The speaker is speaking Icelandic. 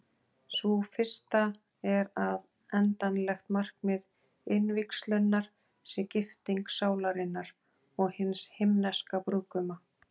Sú fyrsta er að endanlegt markmið innvígslunnar sé gifting sálarinnar og hins Himneska brúðguma.